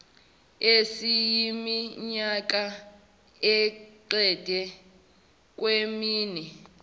esiyiminyaka engeqi kwemine